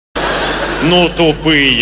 ну тупые